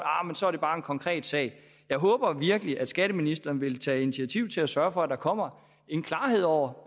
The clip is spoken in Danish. bare en konkret sag jeg håber virkelig at skatteministeren vil tage initiativ til at sørge for at der kommer klarhed over